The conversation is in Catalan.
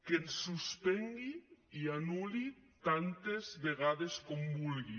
que ens suspengui i anul·li tantes vegades com vulgui